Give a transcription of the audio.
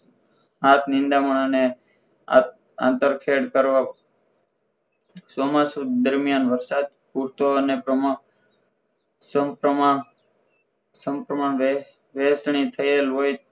હાથ નિદા માં અને આ અંતર ખેળ કરવા ચોમાસું દરમિયાન વરસાદ પૂરતો અને પ્રમાણ સપ્રમાણ સપ્રમાણ વેચની થયેલ હોય